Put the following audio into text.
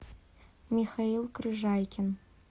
михаил крыжайкин